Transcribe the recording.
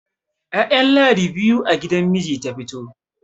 ya'yan ladi biyu a gidan miji ta fito